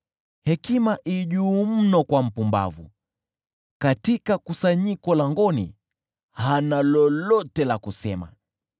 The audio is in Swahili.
Hekima i juu mno kwa mpumbavu, katika kusanyiko langoni hana lolote la kusema.